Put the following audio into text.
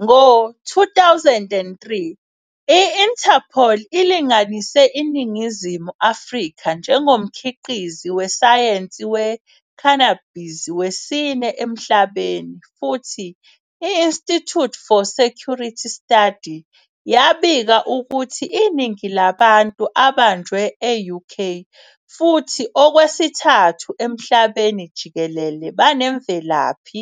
Ngo-2003, i- Interpol ilinganise iNingizimu Afrika njengomkhiqizi wesayensi we-cannabis wesine emhlabeni, futhi i- Institute for Security Study yabika ukuthi iningi labantu abanjwe e-UK futhi okwesithathu emhlabeni jikelele banemvelaphi